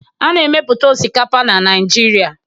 A na-emepụta osikapa na Naịjirịa